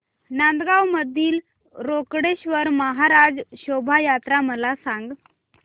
नांदगाव मधील रोकडेश्वर महाराज शोभा यात्रा मला सांग